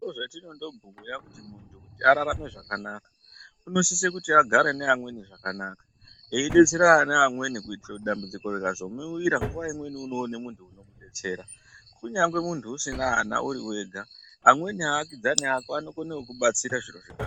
Ndozvatinondobhuya kuti kuti muntu ararame zvakanaka unosise kuti agare neamweni zvakanaka eidetserana neamweni kuitire kuti dambudziko rikazokuwira nguwa imweni unoona muntu unokudetsera kunyangwe muntu usina ana uri wega, amweni aakidzani ako anokone kukubatsira zviro zvikatohamba.